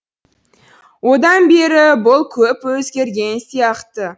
одан бері бұл көп өзгерген сияқты